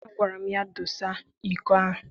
Agwara m ya, dose iko ahụ!